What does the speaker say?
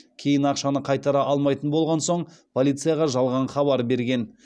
кейін ақшаны қайтара алмайтын болған соң полицияға жалған хабар берген